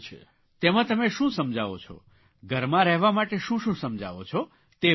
તેમાં તમે શું સમજાવો છો ઘરમાં રહેવા માટે શું શું સમજાવો છો તે વાત કરો